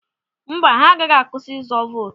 Mba, ha agaghị akwụsị izu vootu.